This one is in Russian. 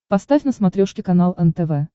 поставь на смотрешке канал нтв